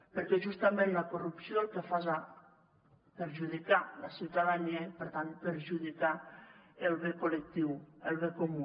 perquè justament la corrupció el que fa és perjudicar la ciutadania i per tant perjudicar el bé col·lectiu el bé comú